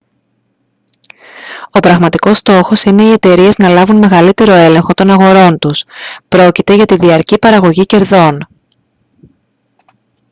ο πραγματικός στόχος είναι οι εταιρείες να λάβουν μεγαλύτερο έλεγχο των αγορών τους· πρόκειται για τη διαρκή παραγωγή κερδών